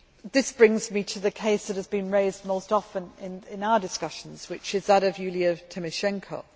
This brings me to the case that has been raised most often in our discussions, which is that of Yulia Tymoshenko.